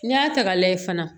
N'i y'a ta k'a lajɛ fana